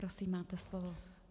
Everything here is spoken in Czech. Prosím máte slovo.